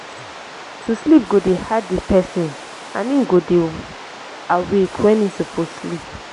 to sleep go dey hard di pesin and im go dey awake wen im soppose sleep